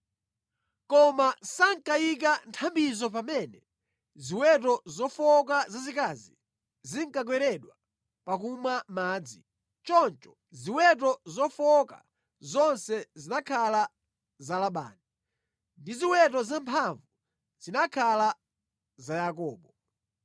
Koma sankayika nthambizo pamene ziweto zofowoka zazikazi zinkakweredwa pakumwa madzi. Choncho ziweto zofowoka zonse zinakhala za Labani, ndi ziweto zamphamvu zinakhala za Yakobo.